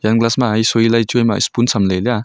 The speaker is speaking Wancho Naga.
glass ma hai sui lai choima apoon samley liya.